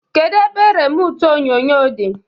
Kedụ ebe remutu onyonyo dị?